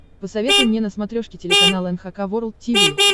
посоветуй мне на смотрешке телеканал эн эйч кей волд ти ви